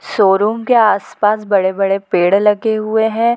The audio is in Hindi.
शोरूम के आस-पास बड़े-बड़े पेड़ लगे हुए है।